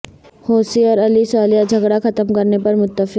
حوثی اور Ali Saleh جھگڑا ختم کرنے پر متفق